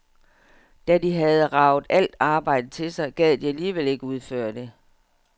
Da de havde raget al arbejdet til sig, gad de alligevel ikke udføre det.